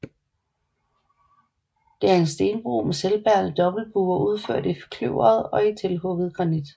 Det er en stenbro med selvbærende dobbeltbuer udført i kløvet og tilhugget granit